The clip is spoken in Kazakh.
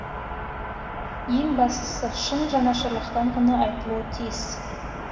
ең бастысы сын жанашырлықтан ғана айтылуы тиіс